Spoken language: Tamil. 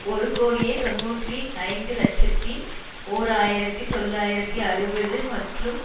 ஒரு கோடியே தொன்னூற்றி ஐந்து இலட்சத்தி ஓர் ஆயிரத்தி தொள்ளாயிரத்தி அறுபது மற்றும்